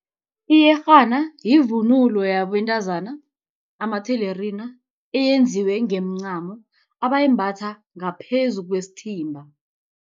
Iyerhana yivunulo yabentazana, amathelerina eyenziwe ngemincamo abayimbatha ngaphezu kwesithimba.